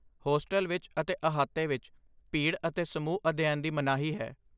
Hostel ਵਿੱਚ ਅਤੇ ਅਹਾਤੇ ਵਿੱਚ, ਭੀੜ ਅਤੇ ਸਮੂਹ ਅਧਿਐਨ ਦੀ ਮਨਾਹੀ ਹੈ।